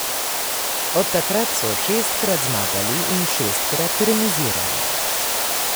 Od takrat so šestkrat zmagali in šestkrat remizirali.